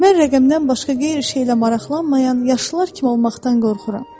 Mən rəqəmdən başqa qeyri-şeylə maraqlanmayan yaşlılar kimi olmaqdan qorxuram.